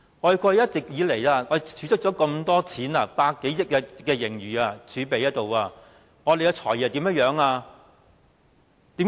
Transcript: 過去一直以來，我們儲蓄了這麼多錢，有100多億元盈餘儲備，而我們的"財爺"怎樣做？